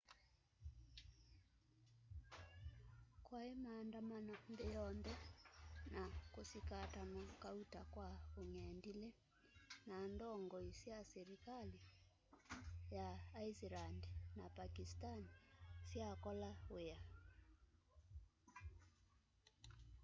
kwai maandamano nthi yonthe kusikatanwa kauta kwa ung'endili na ndongoi sya silikali sya iceland na pakistan syakola wia